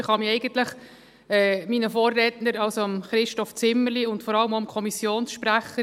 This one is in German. Ich kann mich eigentlich meinen Vorrednern anschliessen, also Christoph Zimmerli und vor allem auch dem Kommissionssprecher.